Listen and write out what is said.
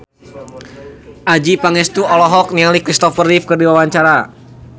Adjie Pangestu olohok ningali Kristopher Reeve keur diwawancara